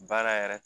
Baara yɛrɛ